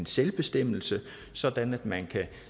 selvbestemmelse sådan at man